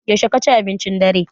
Yaushe ka ci abincin dare?